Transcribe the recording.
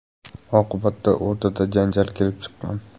Oqibatda o‘rtada janjal kelib chiqqan.